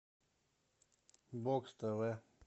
бокс тв